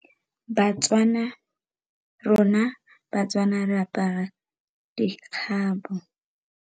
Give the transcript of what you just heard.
Batswana, rona Batswana re apara dikgabo.